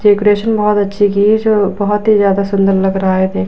decoration बहोत अच्छी की है जो बहोत ही ज्यादा सुंदर लग रहा है देखने --